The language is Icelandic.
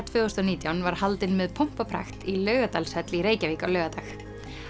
tvö þúsund og nítján var haldin með pompi og prakt í Laugardalshöll í Reykjavík á laugardag